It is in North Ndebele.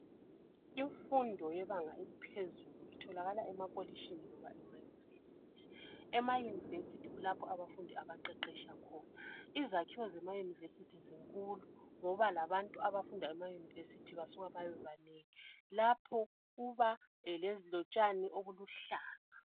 Imfundo yebanga eliphezulu itholakala emakolitshini loba ema university. Ema university kulapho abafundi abaqeqetsha khona. Izakhiwo zema university zinkulu ngoba labantu abafunda ema university basuka babe banengi lapho kuba lotshani obuluhlaza